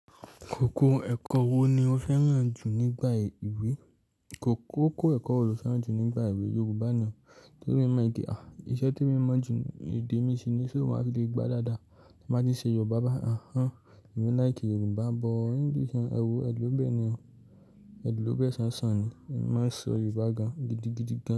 Koko ẹ̀kọ wo ni o fẹ́ràn jù nígbà ìwé? Kókó ẹ̀kọ wo lo fẹ́ràn jù nígbà ìwé? Yorùbá ni o. Torí emi mọ pe, à iṣẹ́ tí emi mọ jù, èdè mí ṣìn ní sọ màá fi lè gbá dáadáa. Tí mo baa ti ṣe Yorùbá bá a, àńán. Èmí like Yorùbá but English yen, ẹwo, ẹ̀ lobẹ̀ ni o. Ẹ̀ lọ́bẹ̀ ṣanṣan ni. Èmi máa n sọ Yorùbá gan-an gidigidi gan.